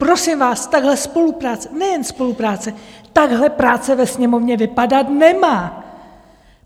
Prosím vás, takhle spolupráce, nejen spolupráce, takhle práce ve Sněmovně vypadat nemá.